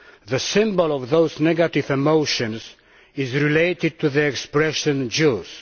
The symbol of those negative emotions is related to the expression Jews'.